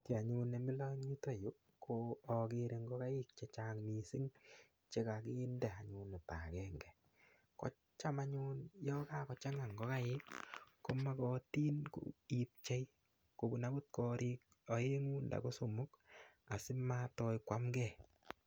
Kiy anyun nemilo eng yuto yu ko akere ngokaik che chang mising chekakinde anyun oto akenge ko cham anyun yo kakochanga ngokaik ko mokotin ipchei kobun akot korik oengu ndako somok asimatoi konamkei.